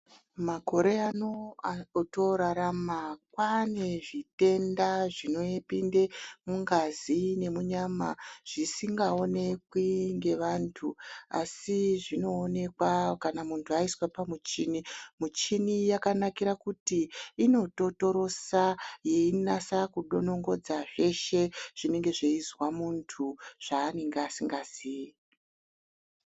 Makore ano otorarama kwane zvitenda zvinopinde mungazi nemunyama zvisingaonekwi ngevantu asi zvinoonekwa kana muntu aiswa pamuchini. Muchini yakanakira kuti inototorosa yeinasa kudonongodza zveshe zvinenge zveizwa munhu zvanenge asingazii.